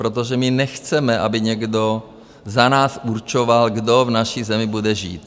Protože my nechceme, aby někdo za nás určoval, kdo v naší zemi bude žít.